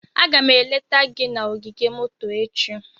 Aga m eleta gị na ogige moto echi.